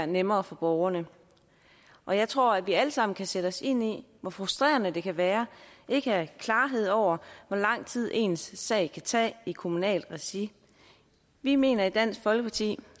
nemmere for borgerne og jeg tror at vi alle sammen kan sætte os ind i hvor frustrerende det kan være ikke at have klarhed over hvor lang tid ens sag kan tage i det kommunale regi vi mener i dansk folkeparti